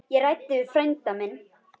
Ég ræddi við frænda minn.